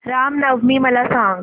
राम नवमी मला सांग